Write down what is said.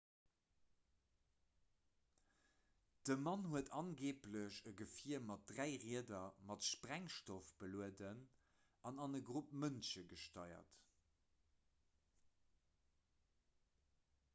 de mann huet angeeblech e gefier mat dräi rieder mat sprengstoff belueden an an e grupp mënsche gesteiert